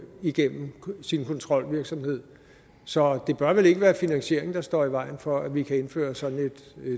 igennem sin kontrolvirksomhed så det bør vel ikke være finansieringen der står i vejen for at vi kan indføre sådan et